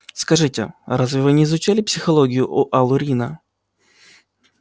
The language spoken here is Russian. скажите разве вы не изучали психологию у алурина